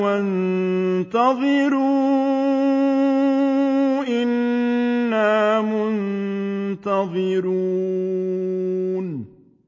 وَانتَظِرُوا إِنَّا مُنتَظِرُونَ